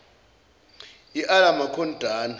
iala maqon dana